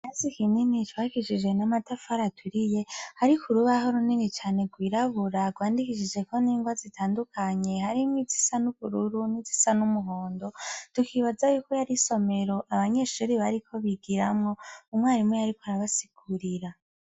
Ikirasi kinini cubakishijwe n'amatafari aturiye hariko urubaho runini cane rwirabura rwandikishijeko n'ingwa zitandukanye harimwo izisa nubururu, nizisa numuhondo tukibazo yuko yari isomero abanyeshure bariko bigiramwo umwarimu yariko arabasigurira.